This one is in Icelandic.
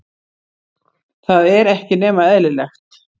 Það er ekki nema eðlilegt.